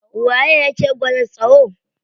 Waye yake gwada tsayo?